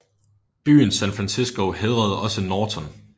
Byen San Francisco hædrede også Norton